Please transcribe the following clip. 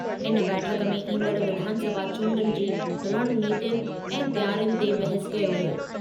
इन बैठकु में ईंदड़ विधानसभा चूंडुनि जी रणनीतीयुनि ऐं तयारियुनि ते बहसु कयो वियो।